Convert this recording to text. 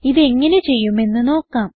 ഇത് എങ്ങനെ ചെയ്യുമെന്ന് നോക്കാം